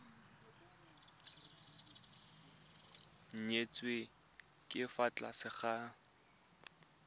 nyetswe ka fa tlase ga